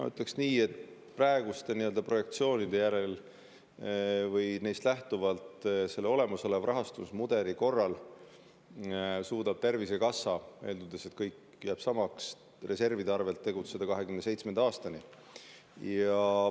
Ma ütleksin nii, et praeguste projektsioonide järgi olemasoleva rahastusmudeli korral suudab Tervisekassa – eeldades, et kõik jääb samaks – reservide arvel tegutseda 2027. aastani.